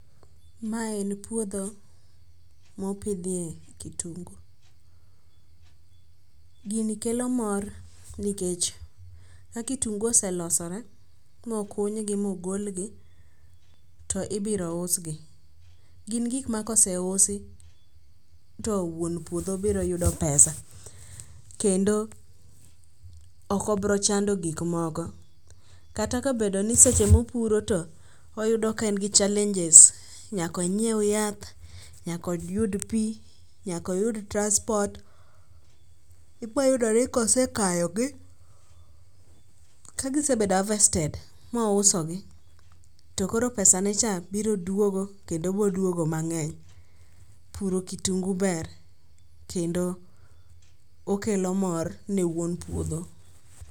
Ma en puodho mopidhye kitungu. Gini kelo mor nikech ka kitungu oselosore mokunygi mogolgi to ibiro usgi. Gin gikma koseusi to wuon puodho biro yudo pesa kendo okobrochando gikmoko. Kata kobedoni seche mopuro to oyudo ka en gi challenges, nyaka onyiew yath, nyaka oyud pi, nyaka oyud transport, iboyudo ni kosekayogi kagisebedo harvested mousogi to koro pesane cha biro dwogo kendo boduogo mang'eny. Puro kitungu ber kendo okelo mor ne wuon puodho.